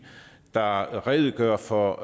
der redegør for